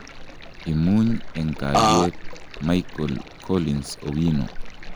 Imuny eng kalyet, Michael collins Owino.